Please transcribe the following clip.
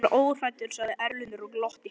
Ég er óhræddur, sagði Erlendur og glotti.